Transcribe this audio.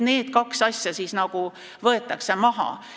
Need kaks asja võetakse maha.